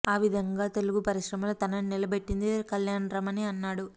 ఆ విధంగా గా తెలుగు పరిశ్రమలో తనని నిలబెట్టింది కళ్యాణ్ రామ్ అని అన్నాడు